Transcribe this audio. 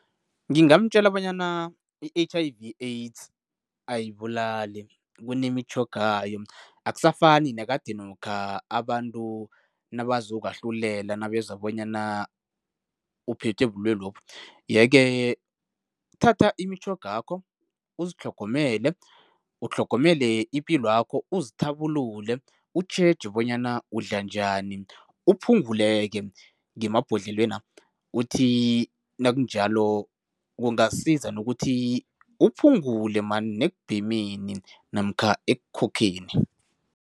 Ngingamtjela bonyana i-H_I_V AIDS ayibulali, kunemitjhogayo. Akusafani nekadenokha abantu nabazokwahlulela nabezwa bonyana uphethwe ubulwelwe lobu yeke thatha imitjhogakho, uzitlhogomele, utlhogomele ipilwakho, uzithabulule, utjheje bonyana udla njani, uphungule-ke ngemabhodlelwena. Uthi nakunjalo kungasiza nokuthi uphungule man nekubhemeni emini namkha ekukhokhenni.